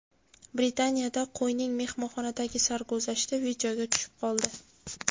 Britaniyada qo‘yning mehmonxonadagi sarguzashti videoga tushib qoldi.